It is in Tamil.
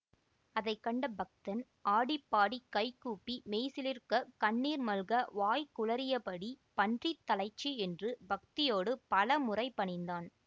அதை கண்ட பக்தன் ஆடி பாடி கைகூப்பி மெய்சிலிர்க்க கண்ணீர் மல்க வாய் குழறியபடி பன்றித் தலைச்சி என்று பக்தியோடு பல முறை பணிந்தான்